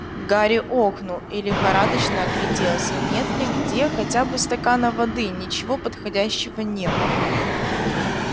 гарри охнул и лихорадочно огляделся нет ли где хотя бы стакана воды ничего подходящего не было